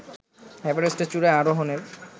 এভারেস্টের চূড়ায় আরোহণের